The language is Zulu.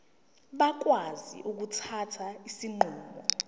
bakwazi ukuthatha izinqumo